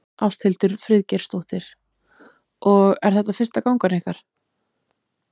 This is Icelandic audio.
Ásthildur Friðgeirsdóttir: Og er þetta fyrsta gangan ykkar?